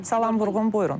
Salam Vurğun, buyurun.